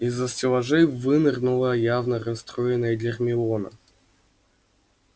из-за стеллажей вынырнула явно расстроенная гермиона